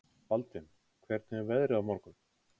Baldvin, hvernig er veðrið á morgun?